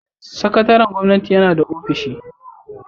Sakataren gwamnati yana da ofishi.